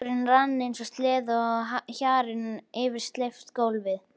Dúkurinn rann eins og sleði á hjarni yfir steypt gólfið.